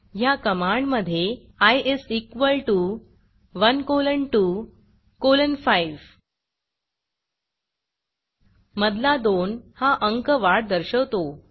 या कमांडमधे I is equal T O 1 colon 2 colon 5 मधला 2 हा अंक वाढ दर्शवतो